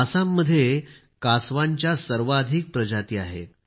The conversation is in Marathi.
आसाममध्ये कासवांची सर्वाधिक प्रजाती आहेत